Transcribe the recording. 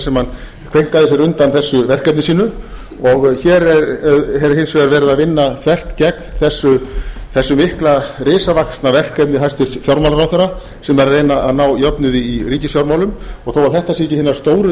sem hann kveinkaði sér undan þessu verkefni sínu hér er hins vegar verið að vinna þvert gegn þessu mikla risavaxna verkefni hæstvirtur fjármálaráðherra sem var að reyna að ná jöfnuði í ríkisfjármálum og þó þetta séu ekki hinar stóru